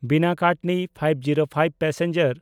ᱵᱤᱱᱟ–ᱠᱟᱴᱱᱤ ᱕᱐᱕ passenger